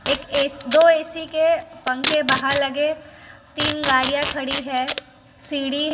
एक एस दो ए_सी के पंखे बाहर लगे तीन गाड़ियां खड़ी है सीढ़ी--